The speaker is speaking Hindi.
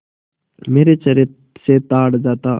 मेरे चेहरे से ताड़ जाता